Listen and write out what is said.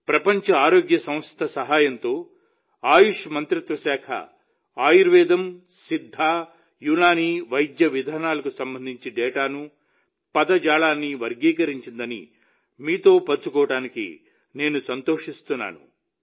ప్రపంచ ఆరోగ్య సంస్థ సహాయంతో ఆయుష్ మంత్రిత్వ శాఖ ఆయుర్వేదం సిద్ధ యునాని వైద్య విధానాలకు సంబంధించిన డేటాను పదజాలాన్ని వర్గీకరించిందని మీతో పంచుకోవడానికి నేను సంతోషిస్తున్నాను